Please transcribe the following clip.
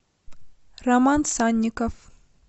роман санников